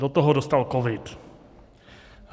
Do toho dostal covid.